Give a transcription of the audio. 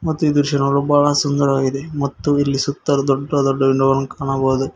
ಮತ್ತು ಇದು ದೃಶ್ಯ ನೋಡಲು ಬಹಳ ಸುಂದರವಾಗಿದೆ ಮತ್ತು ಇಲ್ಲಿ ಸುತ್ತಲೂ ದೊಡ್ದ ದೊಡ್ಡ ವಿಂಡೋ ಗಳನ್ನು ಕಾಣಬಹುದು.